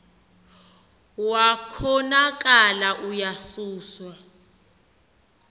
wa konakala uyasuswa